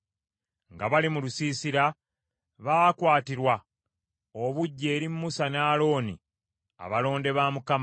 Nga bali mu lusiisira baakwatirwa obuggya eri Musa ne Alooni abalonde ba Mukama .